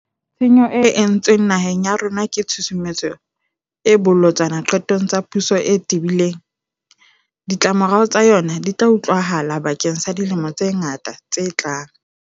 Tshenyo e entsweng naheng ya rona ke tshusumetso e bolotsana diqetong tsa puso e tebileng. Ditlamorao tsa yona di tla utlwahala bakeng sa dilemo tse ngata tse tlang.